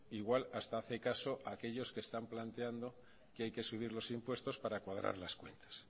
igual hasta hace caso a aquellos que están planteando que hay que subir los impuestos para cuadrar las cuentas